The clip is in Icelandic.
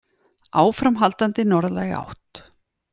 Áframhaldandi norðlæg átt